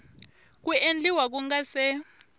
ku endliwa ku nga se